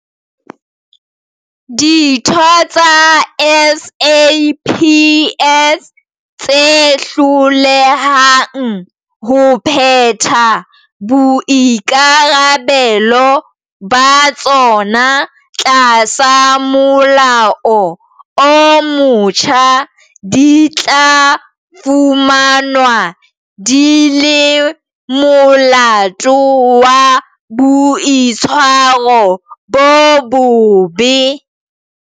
Ditho tsa SAPS tse hlolehang ho phetha boikarabelo ba tsona tlasa molao o motjha di tla fumanwa di le molato wa boitshwaro bo bobe.